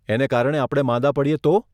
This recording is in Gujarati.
એને કારણે આપણે માંદા પડીએ તો?